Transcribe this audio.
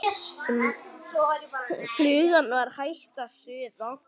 Flugan var hætt að suða.